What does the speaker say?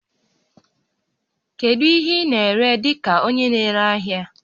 Kedu ihe ị na-ere dị ka onye na-ere ahịa?